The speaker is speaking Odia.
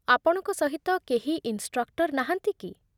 ଆପଣଙ୍କ ସହିତ କେହି ଇନ୍‌ଷ୍ଟ୍ରକ୍ଟର୍ ନାହାନ୍ତି କି?